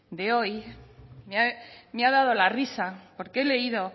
de hoy me ha dado la risa porque he leído